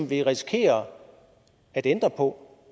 vi risikerer at ændre på